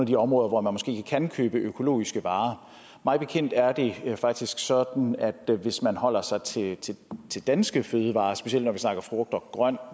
de områder hvor man måske ikke kan købe økologiske varer mig bekendt er det faktisk sådan at hvis man holder sig til til danske fødevarer specielt når vi snakker frugt og grønt